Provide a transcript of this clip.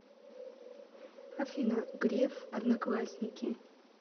афина греф одноклассники